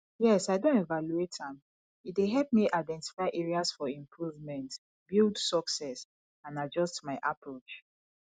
yes i don evaluate am e dey help me identify areas for improvement build success and adjust my approach